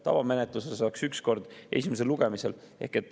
Tavamenetluses oleks üks kord, esimesel lugemisel.